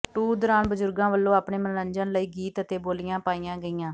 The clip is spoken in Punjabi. ਟੂਰ ਦੌਰਾਨ ਬਜ਼ੁਰਗਾਂ ਵਲੋਂ ਆਪਣੇ ਮਨੋਰੰਜਨ ਲਈ ਗੀਤ ਅਤੇ ਬੋਲੀਆਂ ਪਾਈਆਂ ਗਈਆਂ